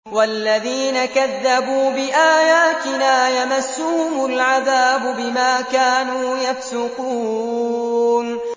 وَالَّذِينَ كَذَّبُوا بِآيَاتِنَا يَمَسُّهُمُ الْعَذَابُ بِمَا كَانُوا يَفْسُقُونَ